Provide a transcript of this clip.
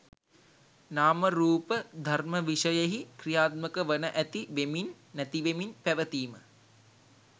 නාම රූප ධර්ම විෂයෙහි ක්‍රියාත්මක වන ඇති වෙමින්, නැතිවෙමින් පැවතීම